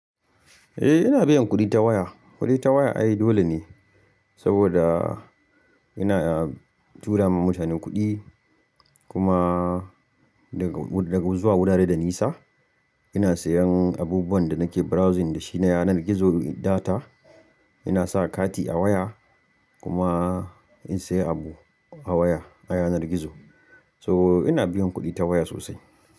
Eh ina biyan kuɗi ta waya, kuɗi ta waya ai dole ne saboda ina tura ma mutane kuɗi kuma daga zuwa wurare da nisa ina sayan abubuwan da nake browsing da shi na yanar gizo data ina sa kati a waya kuma in sayi abu a waya a yanar gizo so ina biyan kuɗi ta waya sosai.